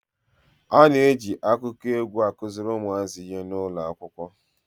A na-eji akụkọ egwu a kuziri ụmụazị ihe n'ụlọ akwụkwọ.